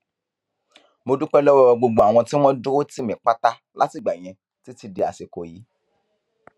mo dúpẹ lọwọ gbogbo àwọn tí wọn dúró tì mí pátá látìgbà yẹn títí di àsìkò yìí